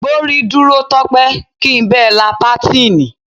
Gbórí dúró Tó̩pé̩! kí n be̩ la pátíìnì.